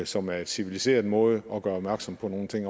som er en civiliseret måde at gøre opmærksom på nogle ting